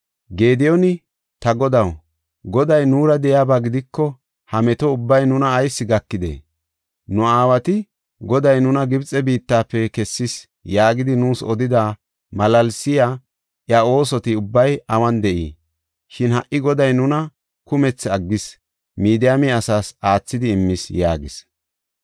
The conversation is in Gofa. Gediyooni, “Ta godaw, Goday nuura de7iyaba gidiko ha meto ubbay nuna ayis gakidee? Nu aawati, ‘Goday nuna Gibxe biittafe kessis’ yaagidi nuus odida malaalsiya iya oosoti ubbay awun de7ii? Shin ha77i Goday nuna kumethi aggis; Midiyaame asaas aathidi immis” yaagis.